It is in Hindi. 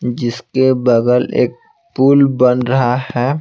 जिसके बगल एक पुल बन रहा है।